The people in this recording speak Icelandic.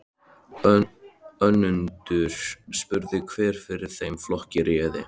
Önundur spurði hver fyrir þeim flokki réði.